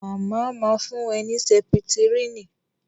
Màmá ma fún ẹ ní Sẹ́pítírínì